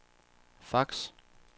fax